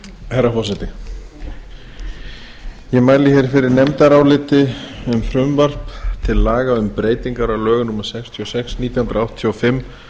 herra forseti ég mæli fyrir nefndaráliti um frumvarp til laga um breytingar á lögum númer sextíu og sex nítján hundruð áttatíu og fimm